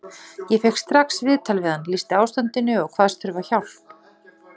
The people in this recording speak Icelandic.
Ég fékk strax viðtal við hann, lýsti ástandinu og kvaðst þurfa að fá hjálp.